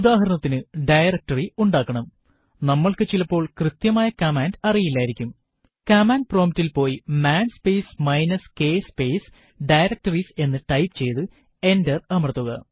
ഉദാഹരണത്തിനു ഡയറക്ടറി ഉണ്ടാക്കണംനമ്മൾക്ക് ചിലപ്പോൾ കൃത്യമായ കമാൻഡ് അറിയില്ലായിരിക്കും കമാൻഡ് prompt ൽ പോയി man space minus k space directories എന്ന് ടൈപ്പ് ചെയ്തു എന്റർ അമർത്തുക